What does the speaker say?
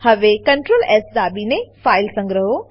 હવે Ctrl S દાબીને file સંગ્રહો